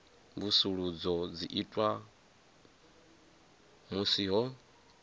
mvusuludzo dzi itwa musi ho